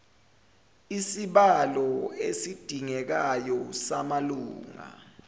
isibalo esidingekayo samalunga